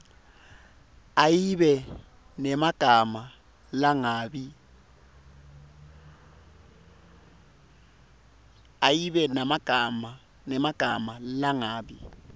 ayibe nemagama langabi